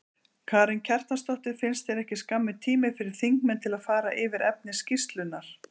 Karen Kjartansdóttir: Finnst þér ekki skammur tími fyrir þingmenn til að fara yfir efni skýrslunnar?